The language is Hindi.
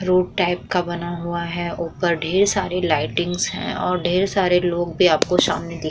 रोड टाइप का बना हुआ है। ऊपर ढेर सारे लाईटिंग्स हैं और ढेर सारे लोग भी आपके सामने देख --